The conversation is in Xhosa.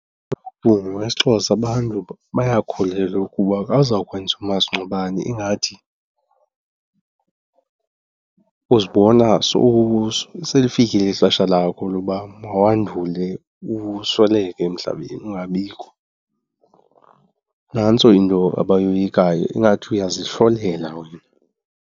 ngokwesiXhosa abantu bayakholelwa ukuba ka uzawukwenza umasingcwabane ingathi uzibona selifikile ixesha lakho loba mawandule usweleke emhlabeni ungabikho. Nantso into abayoyikayo, ingathi uyazihlolela wena.